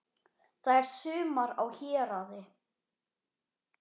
Það er sumar á Héraði.